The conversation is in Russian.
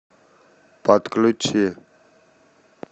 подключи